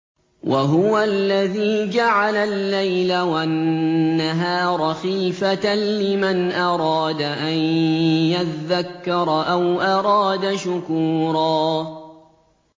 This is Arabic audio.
وَهُوَ الَّذِي جَعَلَ اللَّيْلَ وَالنَّهَارَ خِلْفَةً لِّمَنْ أَرَادَ أَن يَذَّكَّرَ أَوْ أَرَادَ شُكُورًا